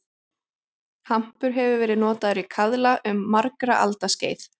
Hampur hefur verið notaður í kaðla um margra alda skeið.